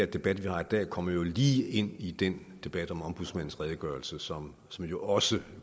debat vi har i dag kommer jo lige ind i den debat om ombudsmandens redegørelse som som jo også